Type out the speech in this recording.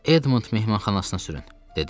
Edmund mehmanxanasına sürün, dedim.